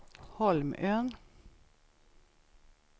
Holmön